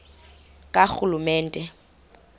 karhulumente